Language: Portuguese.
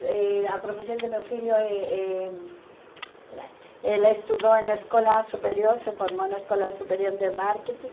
Eh a profissão do meu filho é eh... Ele estudou na escola superior, se formou na escola superior de marketing.